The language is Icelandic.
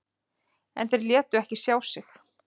En þeir létu ekki sjá sig.